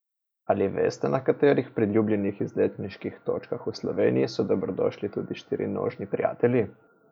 Ali veste, na katerih priljubljenih izletniških točkah v Sloveniji so dobrodošli tudi štirinožni prijatelji?